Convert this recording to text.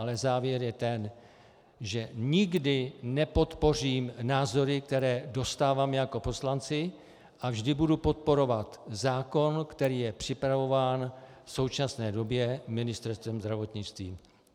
Ale závěr je ten, že nikdy nepodpořím názory, které dostáváme jako poslanci, a vždy budu podporovat zákon, který je připravován v současné době Ministerstvem zdravotnictví.